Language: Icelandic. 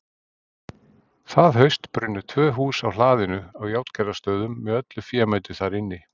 Það haust brunnu tvö hús á hlaðinu á Járngerðarstöðum með öllu fémætu þar inni.